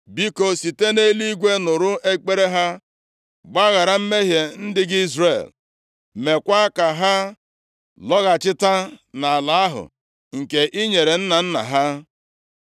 biko, site nʼeluigwe nụrụ ekpere ha, gbaghara mmehie ndị gị Izrel. Meekwa ka ha lọghachita nʼala ahụ nke i nyere nna nna ha.